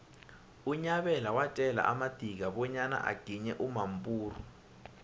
unyabela watjela amadika bonyana uginye umampuru